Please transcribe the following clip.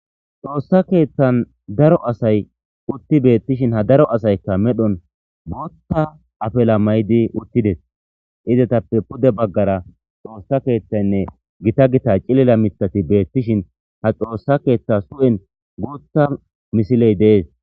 xoossa keethan daro asay utti betishin ha daro asaykka medhon botha afela maydi uttides izetappe pude baggara xoossa kethan gita gita cilila mitati beettishin ha xoossa ketha su7en guutha misiley dees.